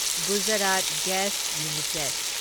Gujarat gas limited